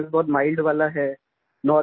आपका केस बहुत माइल्ड वाला है